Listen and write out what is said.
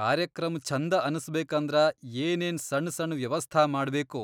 ಕಾರ್ಯಕ್ರಮ್ ಛಂದ ಅನಸ್ಬೇಕಂದ್ರ ಏನೇನ್ ಸಣ್ ಸಣ್ ವ್ಯವಸ್ಥಾ ಮಾಡ್ಬೇಕು